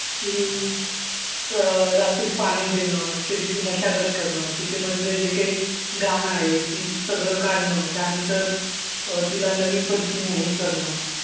की अं रात्री पाणी देणं, शेतीची मशागत करणं, शेतीमधलं जे काही घाण आहे ती सगळं काढणं, त्यानंतर अं तिला नवीन पद्धतीनं हे करणं,